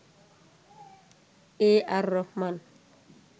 A R Rahman